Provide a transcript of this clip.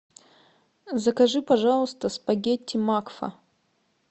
закажи пожалуйста спагетти макфа